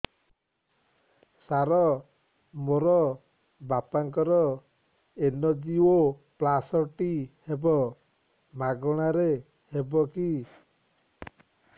ସାର ମୋର ବାପାଙ୍କର ଏନଜିଓପ୍ଳାସଟି ହେବ ମାଗଣା ରେ ହେବ କି